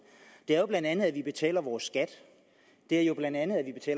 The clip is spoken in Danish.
det er jo bla at vi betaler vores skat det er jo bla